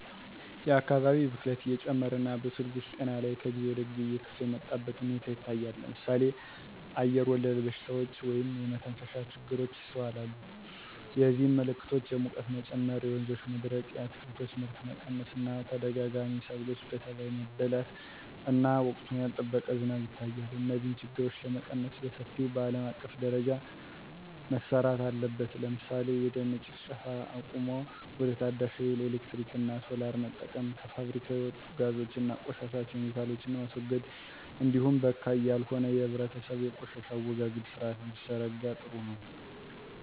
የአካባቢ ብክለት እየጨመረ እና በሰውልጆች ጤና ላይ ከጊዜ ወደጊዜ እየከፋ የመጣበት ሁኔታ ይታያል ለምሳሌ አየርወለድ በሽታዎች (የመተንፈሻ ችግሮች) ይስተዋላሉ የዚህም ምልክቶች የሙቀት መጨመር የወንዞች መድረቅ የአትክልቶች ምርት መቀነስ እና ተደጋጋሚ ሰብሎች በተባይ መበላት እና ወቅቱን ያልጠበቀ ዝናብ ይታያል። እነዚህን ችግሮች ለመቀነስ በሰፊው በአለም አቀፍ ደረጃ መረራት አለበት ለምሳሌ የደን ጭፍጨፋ አቁሞ ወደ ታዳሽ ሀይል ኤሌክትሪክ እና ሶላር መጠቀም። ከፋብሪካ የሚወጡ ጋዞች እና ቆሻሻ ኬሚካሎችን ማስወገድ እንዲሁም በካይ ያልሆነ የህብረተሰቡ የቆሻሻ አወጋገድ ስርአት ቢዘረጋ ጥሩ ነው።